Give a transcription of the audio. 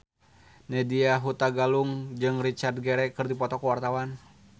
Nadya Hutagalung jeung Richard Gere keur dipoto ku wartawan